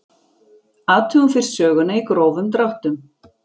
Athugum fyrst söguna í grófum dráttum.